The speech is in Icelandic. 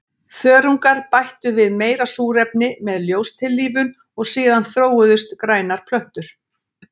Þörungar bættu við meira súrefni með ljóstillífun og síðan þróuðust grænar plöntur.